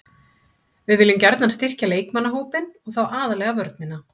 Við viljum gjarnan styrkja leikmannahópinn og þá aðallega vörnina.